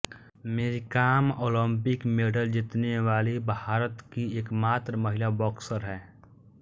मेरी Kom Olympic medal जीतने वाली भारत की एकमात्र महिला बॉक्सर हैं